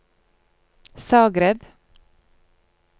Zagreb